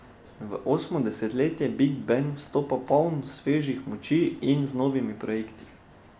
V osmo desetletje big band vstopa poln svežih moči in z novimi projekti.